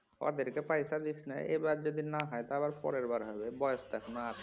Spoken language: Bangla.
ওদেরকে পয়সা দিস লাই এবার যদি না হয় তা আবার পরের বার হবে বয়েস তো এখনো আছে